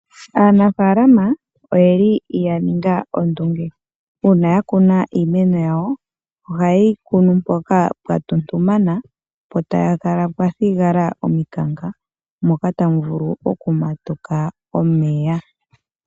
Aanafalama oyeli yaninga ondunge una yakuna iimeno yawo ohaye yi kunu mpoka pwatutumana po tayi kala mwathigala ominkaka moka tamu vulu okumatuka omeya.